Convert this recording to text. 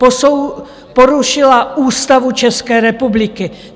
Porušila Ústavu České republiky.